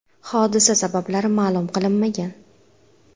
Hodisa sabablari ma’lum qilinmagan.